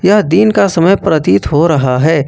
यह दिन का समय प्रतीत हो रहा है।